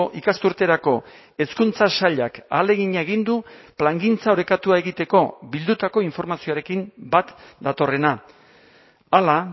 ikasturterako hezkuntza sailak ahalegina egin du plangintza orekatua egiteko bildutako informazioarekin bat datorrena hala